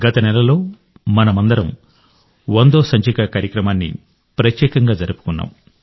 గత నెలలో మనమందరం ప్రత్యేక సెంచరీ కార్యక్రమాన్ని జరుపుకున్నాం